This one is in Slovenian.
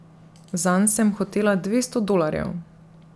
Zanj sem hotela dvesto dolarjev.